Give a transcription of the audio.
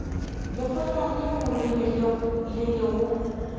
lekgotla leo le bego le